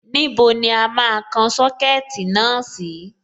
Níbo ni a máa kan Sọ́kẹ̀tì náà sí?